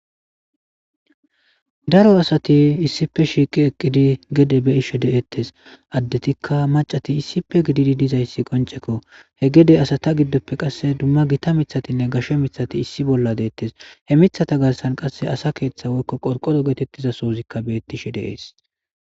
Daro asati issipe shiiqi eqqidi gede beishe deettes addetikka macati issipe gididi dizayssi qoncekko hegede asata giddoppe qasse dumma gita mithatinne gashshe mithati issi bolla deettes hemithata gassan qasse asa keeththa woykko qorqodo geetettiza soozikka bettishe deees.